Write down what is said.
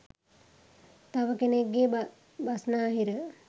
තව කෙනෙක්ගේ බස්නාහිර